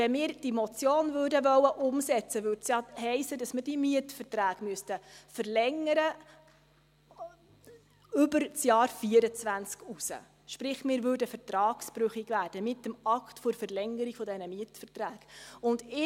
Wenn wir diese Motion umsetzen wollen würden, hiesse das ja, dass wir die Mietverträge über das Jahr 2024 hinaus verlängern müssten, sprich: Wir würden mit dem Akt der Verlängerung dieser Mietverträge vertragsbrüchig.